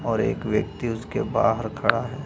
और एक व्यक्ति उसके बाहर खड़ा है।